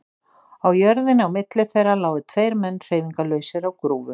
Á jörðinni á milli þeirra lágu tveir menn hreyfingarlausir á grúfu.